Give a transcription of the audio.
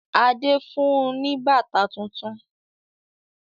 Adé fun ní bàtà tuntun.